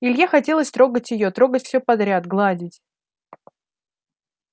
илье хотелось трогать её трогать всё подряд гладить